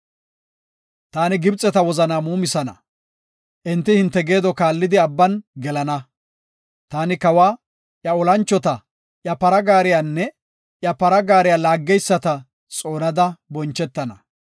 Taani Gibxeta wozanaa muumisana; enti hinte geedo kaallidi Abban gelana. Taani kawa, iya olanchota, iya para gaariyanne iya para gaariya laageyisata xoonada bonchetana.